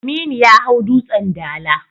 Aminu ya hau Dutsen Dala.